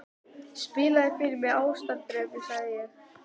Spilaðu fyrr mig Ástardrauminn, sagði ég.